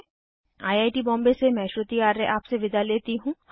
I I T Bombay से मैं श्रुति आर्य आपसे विदा लेती हूँ